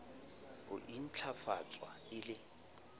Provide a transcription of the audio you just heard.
le ho ntlafatswa e le